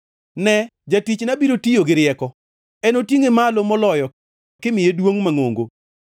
Ne, jatichna biro tiyo gi rieko; enotingʼe malo moloyo kimiye duongʼ mangʼongo.